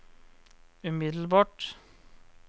umiddelbart